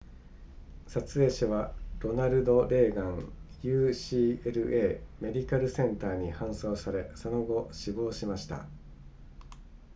撮影者はロナルドレーガン ucla メディカルセンターに搬送されその後死亡しました